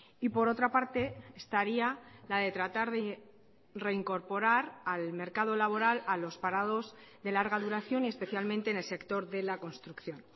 y por otra parte estaría la de tratar de reincorporar al mercado laboral a los parados de larga duración y especialmente en el sector de la construcción